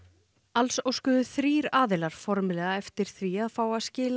alls óskuðu þrír aðilar formlega eftir því að fá að skila